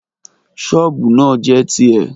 ṣọọbu naa jẹ ti ẹ̀.